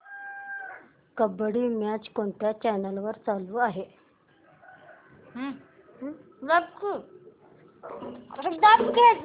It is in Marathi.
कबड्डी मॅच कोणत्या चॅनल वर चालू आहे